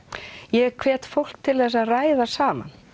ég hvet fólk til þess að ræða saman